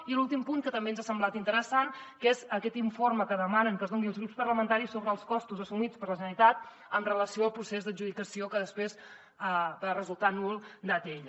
i l’últim punt que també ens ha semblat interessant que és aquest informe que demanen que es doni als grups parlamentaris sobre els costos assumits per la generalitat amb relació al procés d’adjudicació que després va resultar nul d’atll